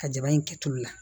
Ka jaba in kɛ tulu la